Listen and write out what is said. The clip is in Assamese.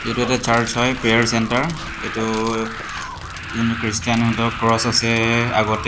এইটো এটা চাৰ্চ হয় প্ৰেয়াৰ চেন্টাৰ এইটো ও জোনটো খ্ৰীষ্টান হয় সিহঁতৰ ক্ৰছ আছে আগতে--